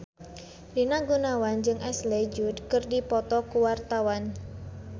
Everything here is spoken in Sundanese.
Rina Gunawan jeung Ashley Judd keur dipoto ku wartawan